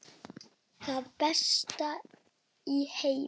Það besta í heimi.